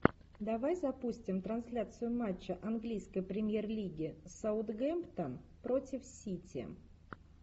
давай запустим трансляцию матча английской премьер лиги саутгемптон против сити